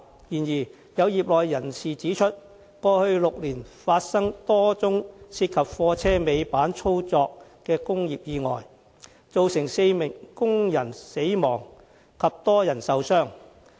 然而，有業內人士指出，過去6年發生多宗涉及貨車尾板操作的工業意外，造成4名工人死亡及多人受傷。